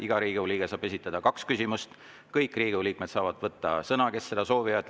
Iga Riigikogu liige saab esitada kaks küsimust, kõik Riigikogu liikmed saavad võtta sõna, kui nad seda soovivad.